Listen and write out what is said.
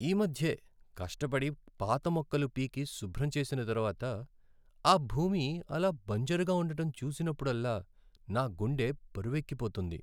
ఈ మధ్యే కష్టపడి పాత మొక్కలు పీకి శుభ్రం చేసిన తరువాత ఆ భూమి ఆలా బంజరుగా ఉండటం చూసినప్పుడల్లా నా గుండె బరువెక్కిపోతుంది.